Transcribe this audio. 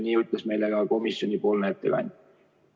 Nii ütles meile ka komisjoni ettekandja.